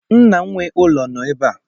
Nna nwe ụlọ no ebe